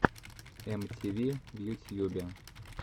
эм ти ви в ютьюбе